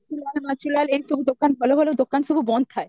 ବଛୁଲଲ ଏ ସବୁ ଦୋକାନ ଭଲ ଭଲ ଦୋକାନ ସବୁ ବନ୍ଦ ଥାଏ